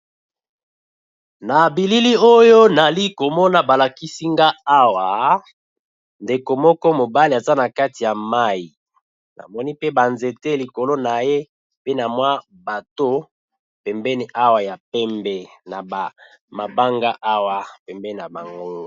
Na bilili oyo nali ko mona ba lakisi nga awa ndeko moko mobali aza na kati ya mayi, na moni pe ba nzete likolo na ye, pe na mwa bateau pembeni awa ya pembe na mabanga awa pembeni na bango .